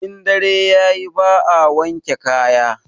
In dare yayi ba a wanke kaya